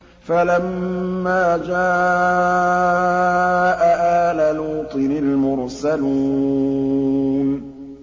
فَلَمَّا جَاءَ آلَ لُوطٍ الْمُرْسَلُونَ